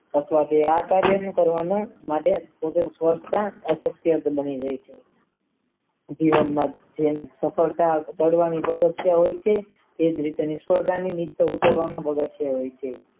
અથવા તો આ કાર્યનું કરવાનું માફક સ્વાર્થતા અશક્ય જ બની ગયું છે ઉભી રોલ માં જેમ સફળતા પાડવાની પ્રદક્ષય રહહિં છે એ જ રીતે સવર્દાની નીચે ઉતરવામાં મદદ હોય છે